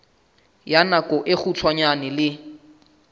ya nako e kgutshwane le